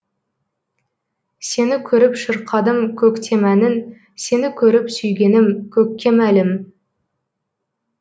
сені көріп шырқадым көктем әнін сені көріп сүйгенім көкке мәлім